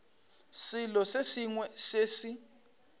selo se sengwe se se